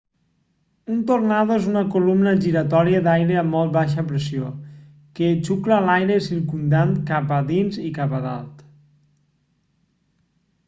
un tornado és una columna giratòria d'aire a molt baixa pressió que xucla l'aire circumdant cap a dins i cap a dalt